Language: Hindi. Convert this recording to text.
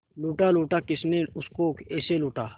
लूटा लूटा किसने उसको ऐसे लूटा